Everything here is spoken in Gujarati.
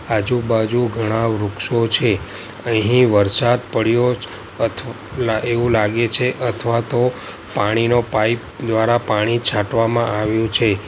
આજુ-બાજુ ઘણા વૃક્ષો છે અહીં વરસાદ પડ્યો અથ લા એવું લાગે છે અથવા તો પાણીનો પાઇપ દ્વારા પાણી છાંટવામાં આવ્યું છે.